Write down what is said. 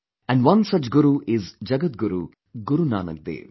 And one such guru is Jagatguru, Guru Nanak Dev